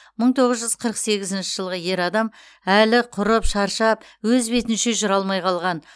мың тоғыз жүз қырық сегізінші жылғы ер адам әлі құрып шаршап өз бетінше жүре алмай қалған